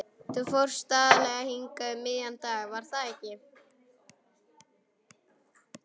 Þú fórst aðallega hingað um miðjan dag, var það ekki?